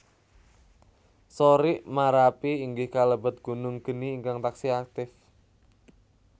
Sorik Marapi inggih kalebet gunung geni ingkang taksih aktif